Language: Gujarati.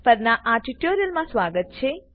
પરના આ ટ્યુટોરીયલમાં સ્વાગત છે